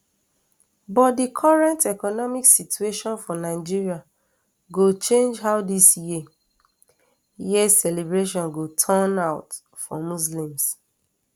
but di current economic situation for nigeria go change how dis year year celebration go take turn out for muslims